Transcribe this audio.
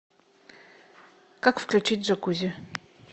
как включить джакузи